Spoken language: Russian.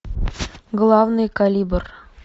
главный калибр